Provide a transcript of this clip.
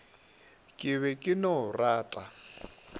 ke be ke no rata